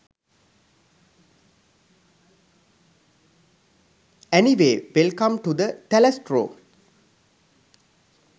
anyway welcome to the තැලැස්ට්‍රෝ